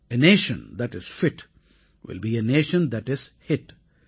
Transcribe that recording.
ah nation that is bit will pay a nation that is hit